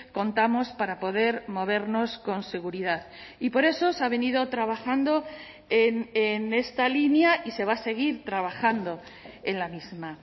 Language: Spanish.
contamos para poder movernos con seguridad y por eso se ha venido trabajando en esta línea y se va a seguir trabajando en la misma